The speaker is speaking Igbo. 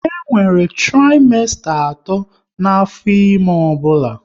E nwere trimesta atọ n'afọ ime ọbụla